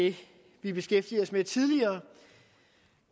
det vi beskæftigede os med tidligere